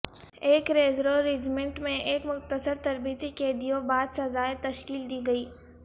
ایک reserve regiment میں ایک مختصر تربیتی قیدیوں بعد سزائے تشکیل دی گئی